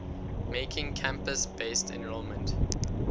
making campus based enrollment